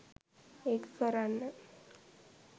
ඒක කරන්න